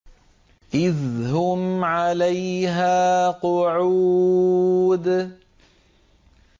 إِذْ هُمْ عَلَيْهَا قُعُودٌ